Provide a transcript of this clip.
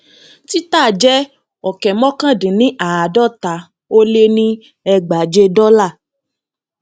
títà jẹ ọkẹ mọkàndínníàádọta ó lé ní ẹgbàáje dọlà